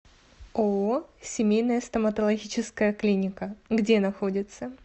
ооо семейная стоматологическая клиника где находится